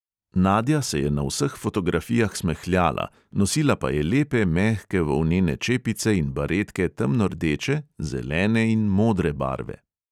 Nadja se je na vseh fotografijah smehljala, nosila pa je lepe mehke volnene čepice in baretke temno rdeče, zelene in modre barve.